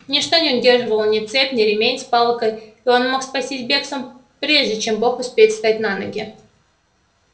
ничто его не удерживало ни цепь ни ремень с палкой и он мог спастись бегством прежде чем бог успеет встать на ноги